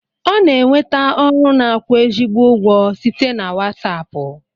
Ọ na-enweta ọrụ na-akwu ezigbo ụgwọ site na Wasapu.